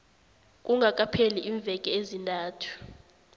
kungakapheli iimveke ezintathu